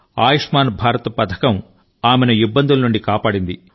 ఆయుష్మాన్ భారత్ పథకం ఆమెను ఇబ్బందుల నుండి కాపాడింది